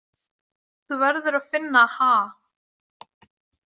Þú verður að finna ha.